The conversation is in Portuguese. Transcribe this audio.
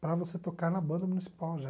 para você tocar na banda municipal já.